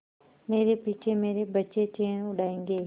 मेरे पीछे मेरे बच्चे चैन उड़ायेंगे